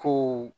Ko